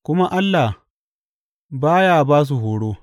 Kuma Allah ba ya ba su horo.